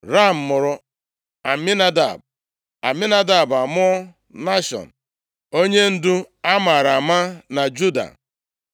Ram mụrụ Aminadab, Aminadab amụọ Nashọn onyendu a maara ama na Juda.